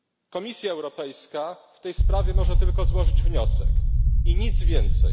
Komisja Europejska w tej sprawie może tylko złożyć wniosek i nic więcej.